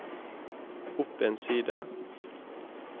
opp en side